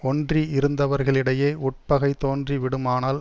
ஒன்றி இருந்தவர்களிடையே உட்பகை தோன்றி விடுமானால்